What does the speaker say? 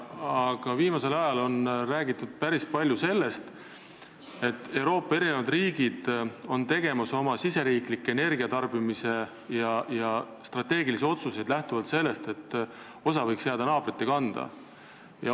Aga viimasel ajal on päris palju räägitud sellest, et mitmed Euroopa riigid on tegemas oma riigisiseseid energiatarbimist käsitlevaid strateegilisi otsuseid lähtuvalt sellest, et osa koormast võiks jääda naabrite kanda.